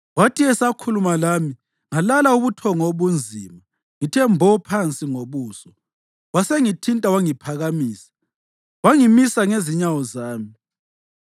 Wathi esakhuluma lami, ngalala ubuthongo obunzima ngithe mbo phansi ngobuso. Wasengithinta, wangiphakamisa, wangimisa ngezinyawo zami.